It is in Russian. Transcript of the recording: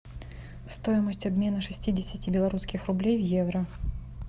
стоимость обмена шестидесяти белорусских рублей в евро